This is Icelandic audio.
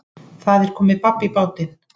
Það er komið babb í bátinn